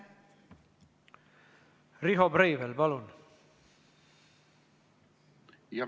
Riho Breivel, palun!